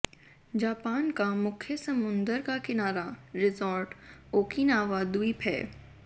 Japan का मुख्य समुंदर का किनारा रिसॉर्ट ओकिनावा द्वीप है